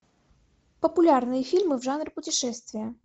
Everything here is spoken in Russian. популярные фильмы в жанре путешествия